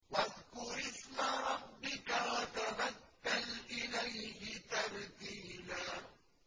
وَاذْكُرِ اسْمَ رَبِّكَ وَتَبَتَّلْ إِلَيْهِ تَبْتِيلًا